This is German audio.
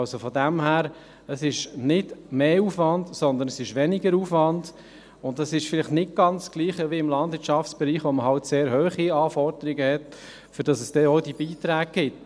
Also ist es daher nicht mehr Aufwand, sondern weniger Aufwand, und das ist vielleicht nicht ganz das Gleiche wie im Landwirtschaftsbereich, wo man eben sehr hohe Anforderungen hat, für die es auch diese Beiträge gibt.